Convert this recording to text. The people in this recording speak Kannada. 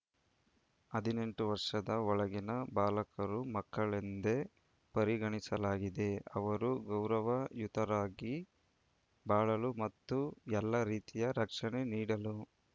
ಹದಿನೆಂಟು ವರ್ಷದ ಒಳಗಿನ ಬಾಲಕರು ಮಕ್ಕಳೆಂದೆ ಪರಿಗಣಿಸಲಾಗಿದೆ ಅವರು ಗೌರವಯುತವಾಗಿ ಬಾಳಲು ಮತ್ತು ಎಲ್ಲಾ ರೀತಿಯ ರಕ್ಷಣೆ ನೀಡಲು